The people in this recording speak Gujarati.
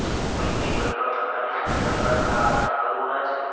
પેટની કોઈ પણ પ્રકારની સર્જરી બાદ આ આસન કરવું ના જોઈએ